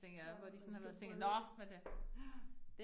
Ja, når de skal prøve, ja